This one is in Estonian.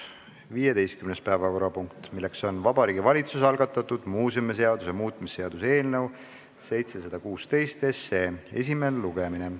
15. päevakorrapunkt, milleks on Vabariigi Valitsuse algatatud muuseumiseaduse muutmise seaduse eelnõu 716 esimene lugemine.